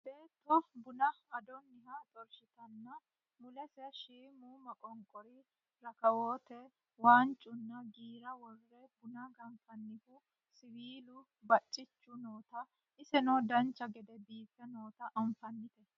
beetto buna adonniha xorshshitanna mulese shiimu moqonqoru rakawoote waancunna giira worre buna ganfannihu siwiilu baccichi noota iseno dancha gede biiffe noota anfannite